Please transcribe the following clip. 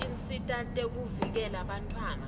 tinsita tekuvikela bantfwana